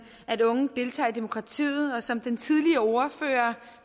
at unge deltager i demokratiet og som den tidligere ordfører